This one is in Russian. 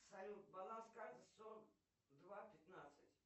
салют баланс карты сорок два пятнадцать